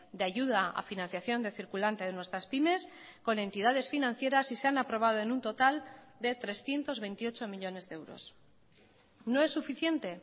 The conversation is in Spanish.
de ayuda a financiación de circulante de nuestras pymes con entidades financieras y se han aprobado en un total de trescientos veintiocho millónes de euros no es suficiente